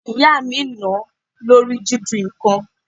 Ìyá mi nà-án lórí jiju nǹkan.